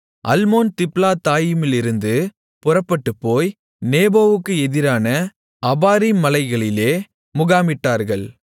அல்மோன் திப்லத்தாயிமிலிருந்து புறப்பட்டுப்போய் நேபோவுக்கு எதிரான அபாரீம் மலைகளிலே முகாமிட்டார்கள்